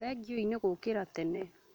Thengiũi nĩ gũũkĩra tene